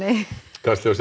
kastljósið